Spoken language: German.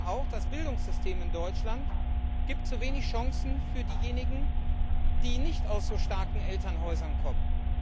Und Sie sagen auch Das Bildungssystem in Deutschland bietet zu wenig Chancen für diejenigen, die nicht aus so starken Elternhäusern kommen.